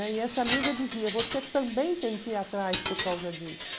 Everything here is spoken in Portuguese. E essa amiga dizia, você também tem que ir atrás por causa disso.